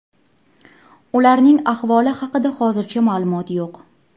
Ularning ahvoli haqida hozircha ma’lumot yo‘q.